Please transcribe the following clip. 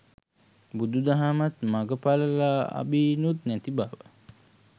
බුදු දහමත් මග ඵල ලාබීනුත් නැති බව.